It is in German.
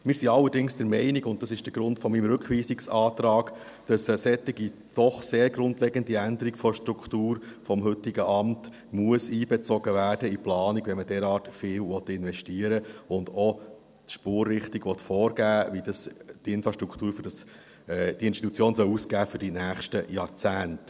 Wir sind allerdings der Meinung – und das ist der Grund für meinen Rückweisungsantrag –, dass eine solche doch sehr grundlegende Änderung der Struktur des heutigen Amts in die Planung einbezogen werden muss, wenn man derart viel investieren will und auch die Spurrichtung vorgeben will, wie die Infrastruktur für diese Institution aussehen soll für die nächsten Jahrzehnte.